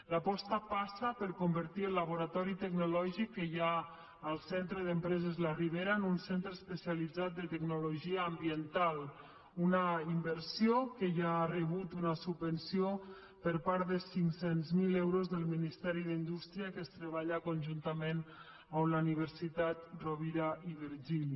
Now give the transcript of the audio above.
l’aposta passa per convertir el laboratori tecnològic que hi ha en el centre d’empreses la ribera en un centre especialitzat de tecnologia ambiental una inversió que ja ha rebut una subvenció de cinc cents miler euros del ministeri d’indústria que es treballa conjuntament amb la universitat rovira i virgili